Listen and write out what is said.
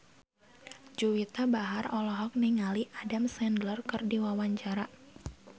Juwita Bahar olohok ningali Adam Sandler keur diwawancara